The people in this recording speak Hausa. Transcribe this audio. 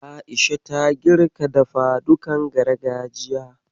A'isha ta girka dafadukan gargajiya.